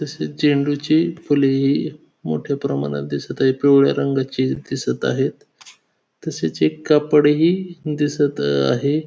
तसेच झेंडूची फुलेही मोठ्या प्रमाणात दिसत आहे. पिवळ्या रंगाची दिसत आहेत. तसेच एक कापड ही दिसत आहे.